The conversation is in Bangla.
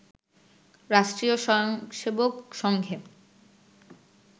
রাষ্ট্রীয় স্বয়ংসেবক সংঘে